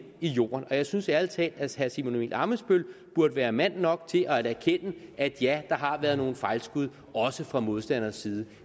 i jorden og jeg synes ærlig talt at herre simon emil ammitzbøll burde være mand nok til at erkende at ja der har været nogle fejlskud også fra modstandernes side